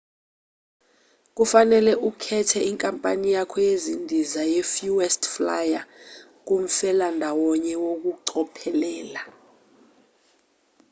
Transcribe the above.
kufanele ukhethe inkampani yakho yezindiza ye-fuest flyer kumfelandawonye ngokucophelela